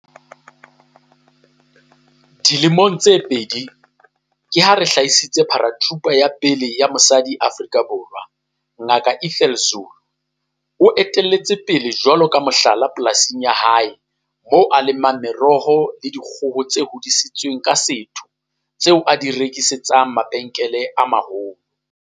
Dilemong tse pedi, ke ha re hlahisitse Paratrooper ya pele ya mosadi Afrika Borwa Ngaka Ethel Zulu o etella pele jwalo ka mohlala polasing ya hae moo a lemang meroho le dikgoho tse hodisitsweng ka setho tse a di rekisetsang mabenkele a maholo.